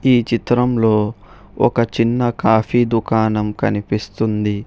ఈ చిత్రంలో ఒక చిన్న కాఫీ దుకాణం కనిపిస్తుంది.